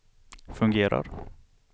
fungerar